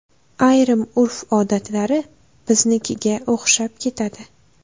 Ayrim urf-odatlari biznikiga o‘xshab ketadi.